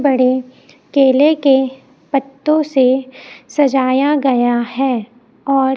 बड़े केले के पत्तों से सजाया गया है और--